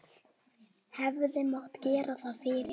Hefði mátt gera það fyrr?